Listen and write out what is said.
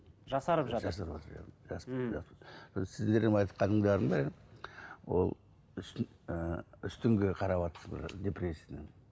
жасарып жатыр сіздердің айтқандарының бәрі ол ы үстіңгі қараватсыздар депрессияның